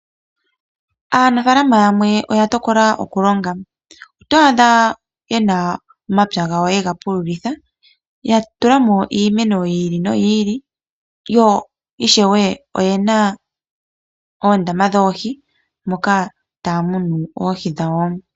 Aanafaalama yamwe oya tokola oku longa oto adha yena omapya gawo yega pululitha ya tulamo iimeno yi ili no yi ili. Yo ishewe oyena oondama dhoohi taya munu oohi dhawo.